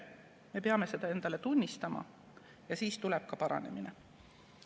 Me peame seda endale tunnistama, siis tuleb ka paranemine.